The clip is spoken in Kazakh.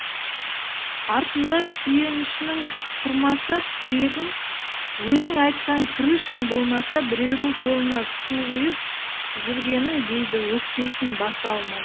артыңда сүйенішің тұрмаса тірегің өзің айтқан крышаң болмаса біреудің қолына су құйып жүргенің дейді өкпесін баса алмай